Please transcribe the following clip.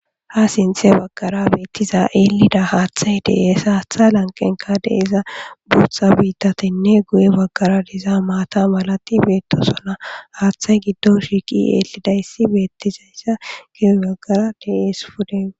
ha sinthe baggara beettiza eelida haaththay dees haatha lanqenka deeza buutha biittatinne guye baggara diza maata malati beettosona haaththay giddon shiiqi eelidayssi beettizaysza guye baggara dees pude